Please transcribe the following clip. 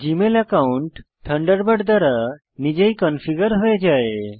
Gmail account Thunderbird দ্বারা নিজেই configure হয়ে যায়